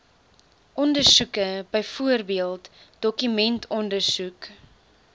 ondersoeke byvoorbeeld dokumentondersoek